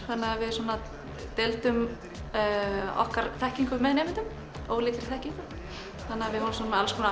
þannig að við svona deildum okkar þekkingu með nemendum ólíkri þekkingu við vorum með alls konar